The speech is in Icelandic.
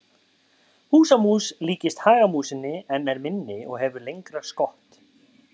Húsamús líkist hagamúsinni en er minni og hefur lengra skott.